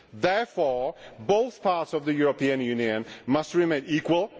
Therefore both parts of the European Union must remain equal.